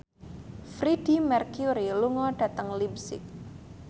Freedie Mercury lunga dhateng leipzig